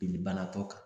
Jeli banakɔ kan